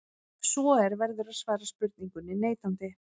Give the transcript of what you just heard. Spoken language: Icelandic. Ef svo er verður að svara spurningunni neitandi.